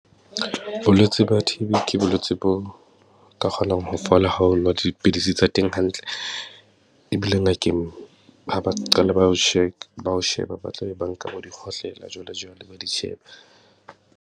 Bolwetse ba T_B ke bolwetsi bo ka kgonang ho fola ha o nwa dipidisi tsa teng hantle. Ebile ngakeng ha ba qala ba o , ba ho sheba, ba tla be ba nka bo dikgohlela jwalejwale, ba di sheba.